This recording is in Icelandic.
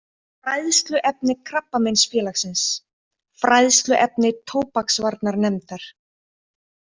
Fræðsluefni Krabbameinsfélagsins Fræðsluefni tóbaksvarnarnefndar